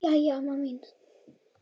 Jæja amma mín.